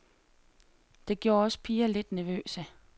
Det gjorde os piger lidt nervøse.